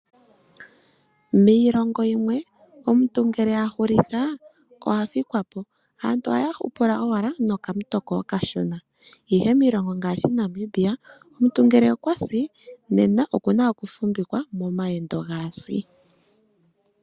Miilongo yimwe omuntu ngele a hulitha oha fikwa po aantu ohaya hupula owala nokamutoko okashona ihe miilongo ngaashi Namibia omuntu ngele okwa si oku na oku fumvikwa momayendo gaasi.